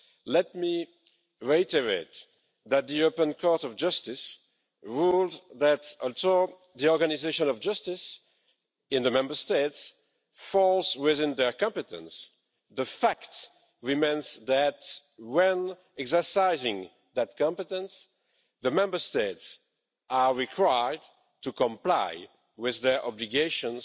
let me reiterate that the European Court of Justice ruled that until the organisation of justice in the Member States falls within their competence, the fact remains that when exercising that competence, the Member States are required to comply with their obligations